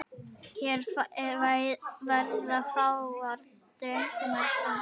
Hér verða fáar dregnar fram.